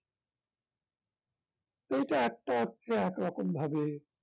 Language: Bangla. এইটা একটা হচ্ছে একরকম ভাবে